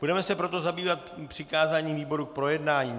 Budeme se proto zabývat přikázáním výborům k projednání.